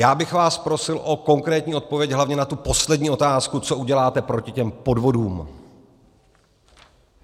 Já bych vás prosil o konkrétní odpověď hlavně na tu poslední otázku, co uděláte proti těm podvodům.